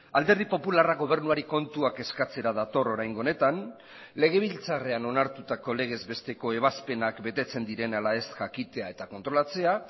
alderdi popularrak gobernuari kontuak eskatzera dator oraingo honetan legebiltzarrean onartutako legez besteko ebazpenak betetzen diren ala ez jakitea eta kontrolatzea